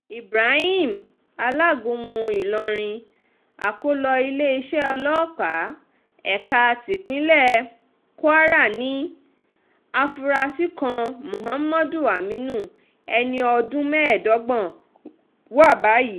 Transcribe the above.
ibrahim alágúnmu ìlọrin akọ́lọ iléeṣẹ́ ọlọ́pàá ẹ̀ka tipinlẹ̀ kwara ní àfúrásì kan mohammadu aminu ẹni ọdún mẹ́ẹ̀ẹ́dọ́gbọ̀n wa báyìí